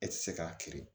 E ti se k'a kiri